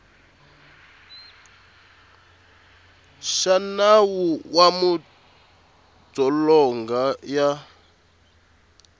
xa nawu wa madzolonga ya